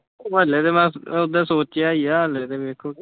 ਹੱਲੇ ਤਾਂ ਬਸ ਸੋਚਿਆ ਈ ਆ ਹੱਲੇ ਵੇਖੋ।